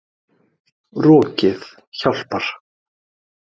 Rokið hjálpar.